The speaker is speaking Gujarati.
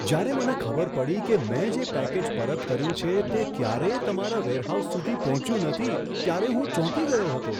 જ્યારે મને ખબર પડી કે મેં જે પેકેજ પરત કર્યું છે તે ક્યારેય તમારા વેરહાઉસ સુધી પહોંચ્યું નથી ત્યારે હું ચોંકી ગયો હતો!